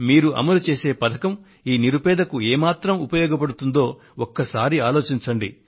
మీరు అమలుచేసే పథకం ఈ నిరుపేదకు ఏమాత్రం ఉపయోగపడుతుందో ఒకసారి ఆలోచించండి